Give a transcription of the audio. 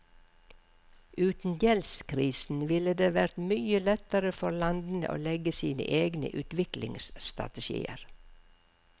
Uten gjeldskrisen ville det vært mye lettere for landene å legge sine egne utviklingsstrategier.